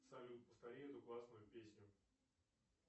салют повтори эту классную песню